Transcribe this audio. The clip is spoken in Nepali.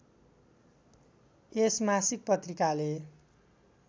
यस मासिक पत्रिकाले